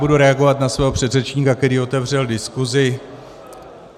Budu reagovat na svého předřečníka, který otevřel diskusi.